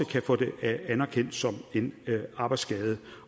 kan få det anerkendt som en arbejdsskade